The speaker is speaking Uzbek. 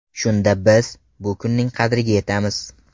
Shunda biz, bu kunning qadriga yetamiz.